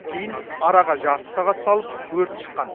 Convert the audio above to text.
кейін араға жарты сағат салып өрт шыққан